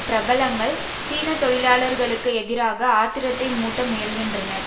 பிரபலங்கள் சீன தொழிலாளர்களுக்கு எதிராக ஆத்திரத்தை மூட்ட முயல்கின்றனர்